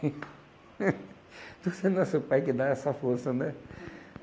Tudo tem que ser nosso pai que dá essa força, né?